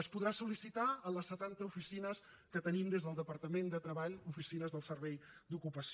es podrà sol·licitar a les setanta oficines que tenim des del departament de treball oficines del servei d’ocupació